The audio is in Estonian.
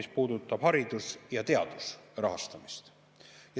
See puudutab hariduse ja teaduse rahastamist.